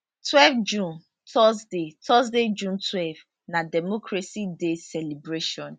12 june thursday thursday june twelve na democracy day celebration